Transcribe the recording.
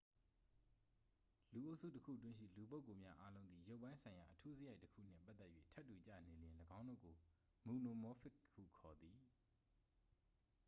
လူအုပ်စုတစ်ခုတွင်းရှိ လူပုဂ္ဂိုလ်များအားလုံးသည် ရုပ်ပိုင်းဆိုင်ရာ အထူးစရိုက်တစ်ခူနှင့် ပတ်သက်၍ ထပ်တူကျနေလျှင် ၎င်းတို့ကို မိုနိုမောဖစ် ဟုခေါ်သည်